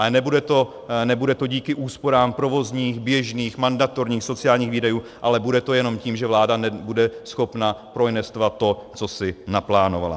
Ale nebude to díky úsporám provozních, běžných, mandatorních, sociálních výdajů, ale bude to jenom tím, že vláda nebude schopna proinvestovat to, co si naplánovala.